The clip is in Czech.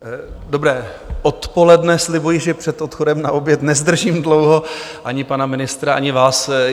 Dobré odpoledne, slibuji, že před odchodem na oběd nezdržím dlouho ani pana ministra, ani vás.